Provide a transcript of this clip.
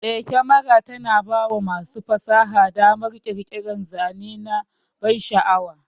Eh, kyamara tana bawa masu fasaha damar ƙirƙirar zane na bansha'awa.